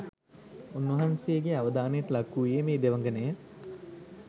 උන්වහන්සේගේ අවධානයට ලක් වූයේ මේ දෙවඟනය.